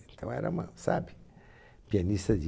Então era uma, sabe, pianista de...